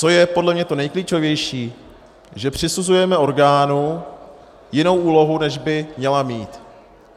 Co je podle mě to nejklíčovější, že přisuzujeme orgánu jinou úlohu, než by měl mít.